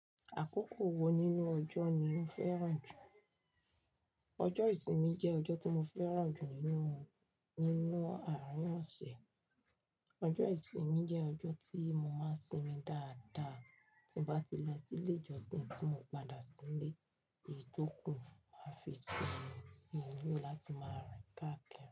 Àkókò wo nínú ọjọ́ ni o fẹ́ràn jù? Ọjọ́ ìsinmi jẹ́ ọjọ́ tí mo fẹ́ràn jù nínú, nínú àárín ọ̀sẹ̀. Ọjọ́ ìsinmi jẹ́ ọjọ́ tí mo máa sinmi dáadáa tí bá ti lọ sí ilé ìjọsìn tí mo padà sílé, ètò kùn máa fi sinmi, mi ni ló láti máa rìn káakiri.